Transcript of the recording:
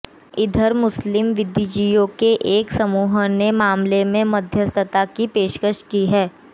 इधर मुस्लिम बुद्धिजीवियों के एक समूह ने मामले में मध्यस्थता की पेशकश की है